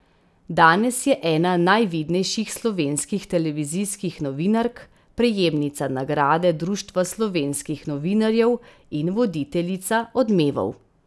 Danes je ena najvidnejših slovenskih televizijskih novinark, prejemnica nagrade Društva slovenskih novinarjev in voditeljica Odmevov.